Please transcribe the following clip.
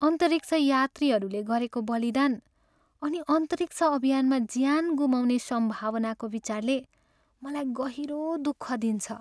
अन्तरिक्ष यात्रीहरूले गरेको बलिदान अनि अन्तरिक्ष अभियानमा ज्यान गुमाउने सम्भावनाको विचारले मलाई गहिरो दुःख दिन्छ।